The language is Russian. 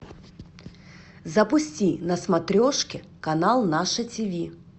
запусти на смотрешке канал наше тв